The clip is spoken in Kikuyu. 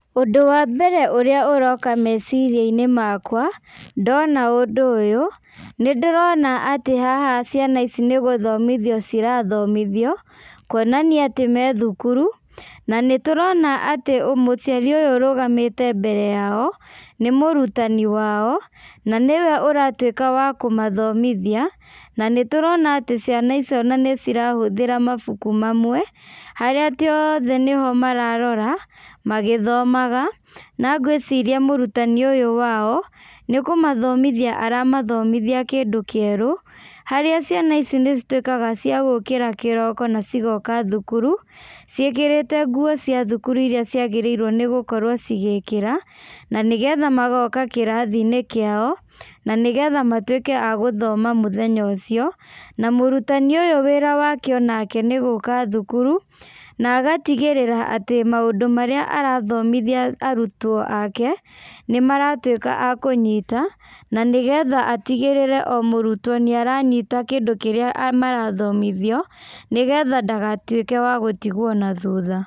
Ũndũ wa mbere ũrĩa ũroka meciria-inĩ makwa, ndona ũndũ ũyũ, nĩ ndĩrona atĩ haha ciana ici nĩ gũthomiothio cirathomithio, kuonania atĩ me thukuru, na nĩ tũrona atĩ mũciari ũyũ ũrũgamĩte mbere yao, nĩ mũrutani wao, na nĩwe ũratuĩka wa kũmathomithia, na nĩ tũrona atĩ ciana icio ona nĩ cirahũthĩra mabuku mamwe, harĩa atĩ othe nĩho mararoa, magĩthomaga, na ngwĩciria mũrutani ũyũ wao, nĩ kũmathomithia aramathomithia kĩndũ kĩerũ, harĩa ciana ici nĩ cituĩkaga cia gũkĩra kĩroko na cigoka thukuru, ciĩkĩrĩte nguo cia thukuru irĩa ciagĩrĩirwo nĩgũkorwo cigĩkĩra, na nĩgetha magoka kĩrathi-inĩ kĩao, na nĩgetha matuĩke a gũthoma mũthenya ũcio, na mũrutani ũyũ wĩra wake onake nĩ gũka thukuru, na agatigĩrĩra atĩ maũndũ marĩa arathomithia arutwo aake, nĩ maratuĩka a kũnyita, na nĩgetha atigĩrĩre o mũrutwo nĩ aranyita kĩndũ kĩrĩa marathomithio nĩgetha ndagatuĩke wa gũtigwo na thutha.